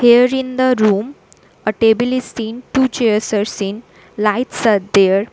Here in the room a table is seen two chairs are same lights are there.